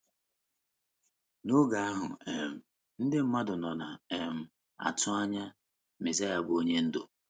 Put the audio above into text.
N’oge ahụ, um “ ndị mmadụ nọ na - um atụ anya ” Mezaịa bụ́ Onye Ndú.